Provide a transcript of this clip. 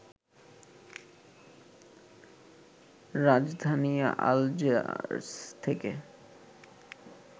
রাজধানী আলজিয়ার্স থেকে